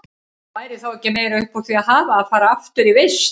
Væri þá ekki meira upp úr því að hafa að fara aftur í vist?